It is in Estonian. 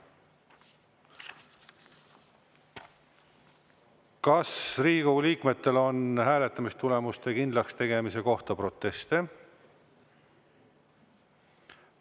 Kas Riigikogu liikmetel on hääletamistulemuste kindlakstegemise kohta proteste?